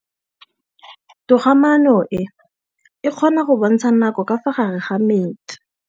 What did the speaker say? Toga-maanô e, e kgona go bontsha nakô ka fa gare ga metsi.